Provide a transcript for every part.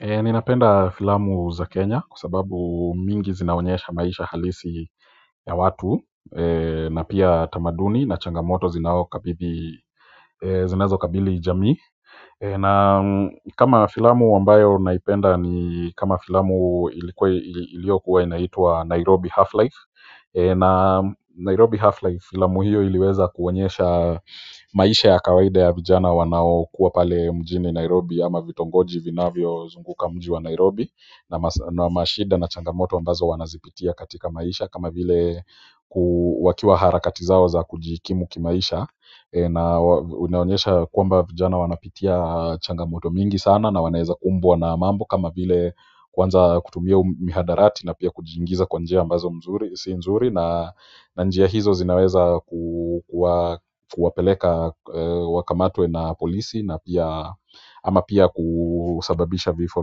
Ninapenda filamu za Kenya kwa sababu mingi zinaonyesha maisha halisi ya watu. Na pia tamaduni na changamoto zinazo kabili jamii na kama filamu ambayo naipenda ni kama filamu iliyokuwa inaitwa Nairobi Half-Life na Nairobi Half-Life filamu hiyo iliweza kuonyesha maisha ya kawaida ya vijana wanao kuwa pale mjini Nairobi ama vitongoji vinavyo zunguka mji wa Nairobi na mashida na changamoto ambazo wanazipitia katika maisha kama vile wakiwa harakati zao za kujikimu kimaisha na unaonyesha kwamba vijana wanapitia changamoto mingi sana na wanaeza kumbwa na mambo kama vile kwanza kutumia mihadarati na pia kujiingiza kwa njia ambazo si nzuri na njia hizo zinaweza kuwapeleka wakamatwe na polisi ama pia kusababisha vifo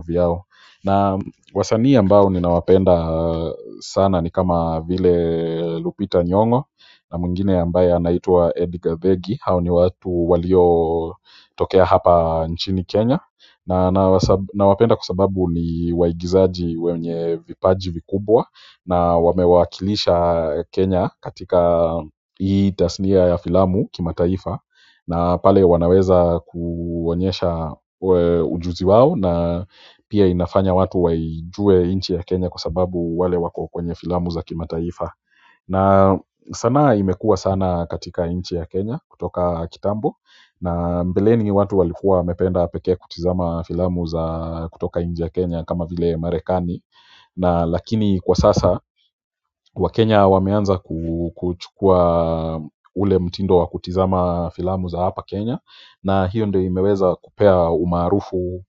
vyao. Na wasanii ambao ninawapenda sana ni kama vile Lupita Nyongo na mwingine ambaye anaitwa. Ediga beki, hao ni watu waliotokea hapa nchini Kenya na wapenda kwa sababu ni waigizaji wenye vipaji vikubwa na wamewakilisha Kenya katika hii tasnia ya filamu kimataifa na pale wanaweza kuonyesha ujuzi wao na pia inafanya watu waijue nchi ya Kenya kwa sababu wale wako kwenye filamu za kimataifa na sanaa imekuwa sana katika nchi ya Kenya kutoka kitambo na mbeleni watu walikuwa wamependa peke kutazama filamu za kutoka nchi ya Kenya kama vile ya Marekani na lakini kwa sasa wakenya wameanza kuchukua ule mtindo wa kutazama filamu za hapa Kenya na hiyo ndo imeweza kupea umaarufu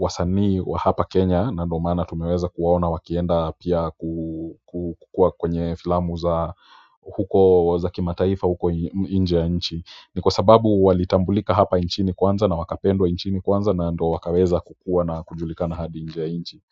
wasanii wa hapa Kenya na ndo maana tumeweza kuwaona wakienda pia kukuwa kwenye filamu za huko za kimataifa huko nje ya nchi ni kwa sababu walitambulika hapa nchini kwanza na wakapendwa nchini kwanza na ndo wakaweza kukuwa na kujulikana hadi nje ya nchi.